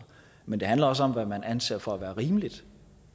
men det handler også om hvad man anser for at være rimeligt